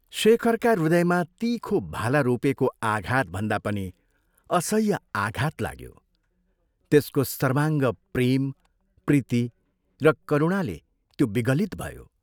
शेखरका हृदयमा तीखो भाला रोपेको आघातभन्दा पनि असह्य आघात लाग्यो, त्यसको सर्वाङ्ग प्रेम, प्रीति र करुणाले त्यो विगलित भयो।